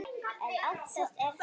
En oftast er það